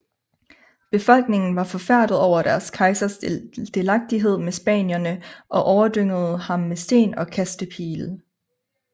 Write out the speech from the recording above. Befolkningen var forfærdet over deres kejsers delagtighed med spanierne og overdyngede ham med sten og kastepile